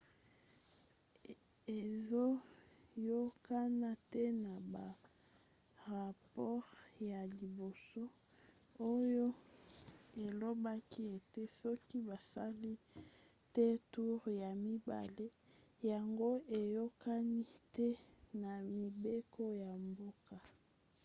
ezoyokana te na barapore ya liboso oyo elobaki ete soki basali te toure ya mibale yango eyokani te na mibeko ya mboka